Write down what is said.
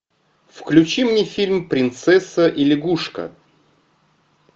включи мне фильм принцесса и лягушка